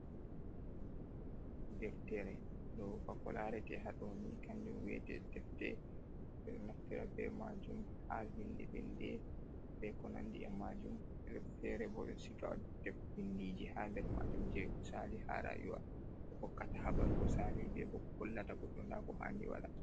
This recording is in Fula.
deftere ɗo ba ko laarete haɗoni kanjum wi'ete defte, ɓe ɗo naftira be majum ,haa vinde vinde be ko nanndi e majum, feere bo, ɓe ɗo siga binndiiji, haa nder maajum ,jey ko saali haa raayuwa, ko hokkata habaru ko saali, be bo ko hollata goɗɗo ndaa ko haandi waɗa.